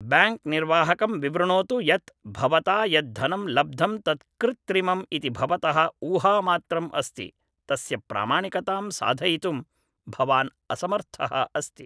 bank निर्वाहकं विवृणोतु यत् भवता यत् धनं लब्धं तत् कृत्रिमम् इति भवतः ऊहामात्रम् अस्ति तस्य प्रामाणिकतां साधयितुं भवान् असमर्थः अस्ति